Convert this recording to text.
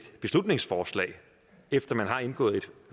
beslutningsforslag efter man har indgået et